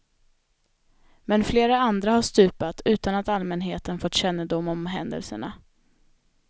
Men flera andra har stupat utan att allmänheten fått kännedom om händelserna.